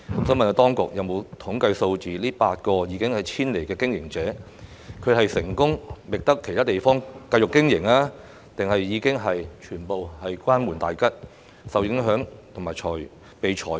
請問當局有否備存統計數字，顯示該8個已經遷離的經營者是成功覓得其他地方繼續經營，還是已經全部關門大吉呢？